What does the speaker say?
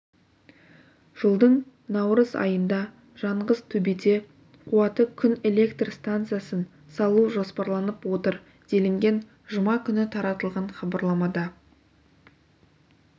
жылдың наурыз айында жанғызтөбеде қуаты күн электр стансасын салу жоспарланып отыр делінген жұма күні таратылған хабарламада